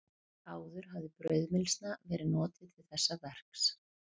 Áður hafði brauðmylsna verið notuð til þessa verks.